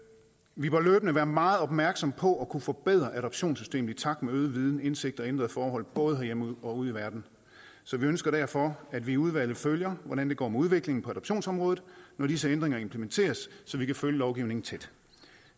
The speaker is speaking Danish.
vi bør løbende være meget opmærksomme på at kunne forbedre adoptionssystemet i takt med øget viden indsigt og ændrede forhold både herhjemme og ude i verden så vi ønsker derfor at vi i udvalget følger hvordan det går med udviklingen på adoptionsområdet når disse ændringer implementeres så vi kan følge lovgivningen tæt